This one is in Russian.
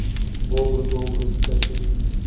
бобр добр закачай